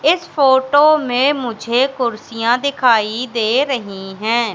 इस फोटो में मुझे कुर्सियां दिखाई दे रही है।